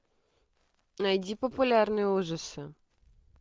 найди популярные ужасы